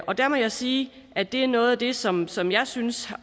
og der må jeg sige at det er noget af det som som jeg synes